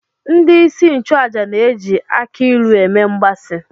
Ndị isi nchụaja na-eji akị ilu eme mgbaasị